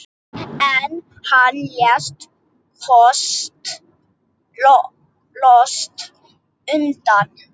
En hann lét loks undan.